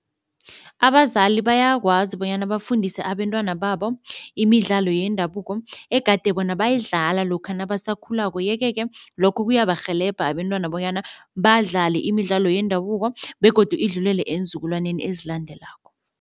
Abazali bayakwazi bonyana bafundise abentwana babo imidlalo yendabuko egade bona bayidlala lokha nabasakhulako yeke-ke lokho kuyabarhelebha abentwana bonyana badlale imidlalo yendabuko begodu idlulele eenzukulwani ezilandelako.